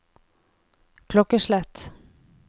klokkeslett